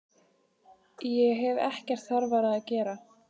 Ég hef ekkert þarfara að gera.